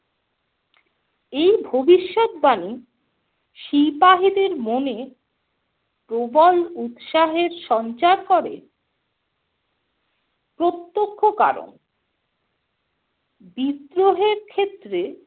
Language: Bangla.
এই ভবিষৎবাণী সিপাহিদের মনে প্রবল উৎসাহে সঞ্চার করে। প্রত্যক্ষ কারণ - বিদ্রোহের ক্ষেত্র